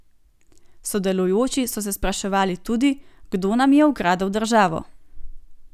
Sodelujoči so se spraševali tudi, kdo nam je ukradel državo.